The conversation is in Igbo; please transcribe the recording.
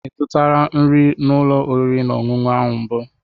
Ị zụtala nri n'ụlọ oriri na ọṅụṅụ ahụ mbụ?